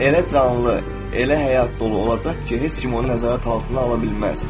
Elə canlı, elə həyat dolu olacaq ki, heç kim onu nəzarət altına ala bilməz.